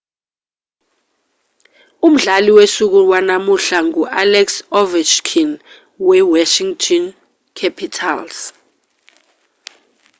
umdlali wosuku wanamuhla ngu-alex ovechkin wewashington capitals